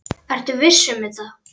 Ertu viss um þetta?